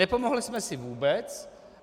Nepomohli jsme si vůbec.